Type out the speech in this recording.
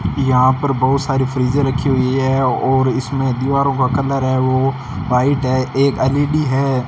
यहां पर बहुत सारी फ्रीजें रखी हुई है और इसमें दीवारों का कलर है वो वाइट है एक एल_ई_डी है।